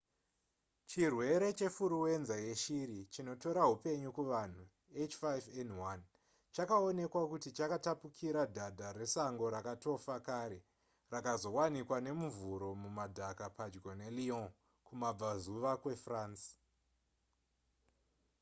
chirwere chefuruwenza yeshiri chinotora hupenyu kuvanhu h5n1 chakaonekwa kuti chakatapukira dhadha resango rakatofa kare rakazowanikwa nemuvhuro mumudhaka padyo nelyon kumabvazuva kwefrance